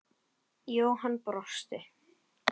Jóhann brosti.